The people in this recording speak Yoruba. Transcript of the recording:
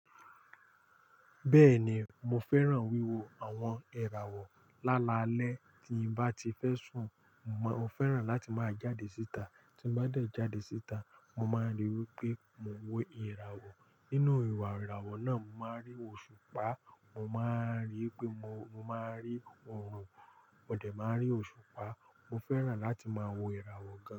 Bẹ́ẹ̀ni mo fẹ́ràn wíwo àwọn ìràwọ̀. Lálalẹ́ tí bá ti fẹ́ sùn, mo fẹ́ràn láti máa jáde síta. Tí bá dẹ̀ jáde síta, mo máa ríi wípé mo wo ìràwọ̀. Nínú ìwà ìràwọ̀ náà, mo máa rí òṣùpá, mo máa rí pé mo, mo máa rí oòrùn, ọ̀dẹ̀ máa rí òṣùpá. Mo fẹ́ràn láti máa wo ìràwọ̀ gan.